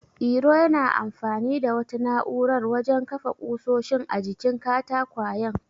Iro yana amfani da wata na'urar wajen kafa ƙusoshin a jikin katakwayen.